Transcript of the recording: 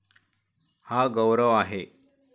हा गौरव आहे?